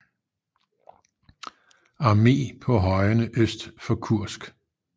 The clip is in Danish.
Arme på højene øst for Kursk